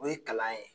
O ye kalan ye